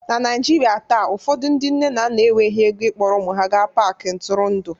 na Naijiria taa ụfọdụ ndị nne na nna enweghị ego ịkpọrọ ụmụ ha gaa Paakị ntụrụndụ